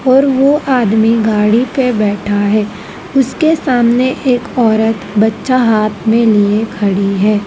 और वो आदमी गाड़ी पे बैठा है उसके सामने एक औरत बच्चा हाथ में लिए खड़ी है।